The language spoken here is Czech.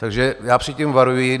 Takže já před tím varuji.